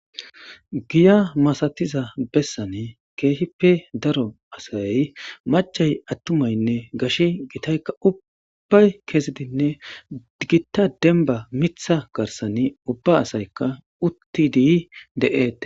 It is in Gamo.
giya masatiza bessanee keehippe daro asay machay attumaynne gashi gitaykka ubbay keesidinne gitta demba mitha garsani ubba asaykka uttidi de7ete